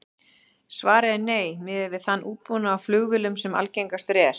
Svarið er nei, miðað við þann útbúnað á flugvélum sem algengastur er.